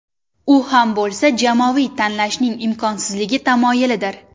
U ham bo‘lsa jamoaviy tanlashning imkonsizligi tamoyilidir.